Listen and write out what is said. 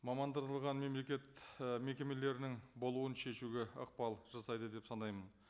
мамандырылған мемлекет і мекемелерінің болуын шешуге ықпал жасайды деп санаймын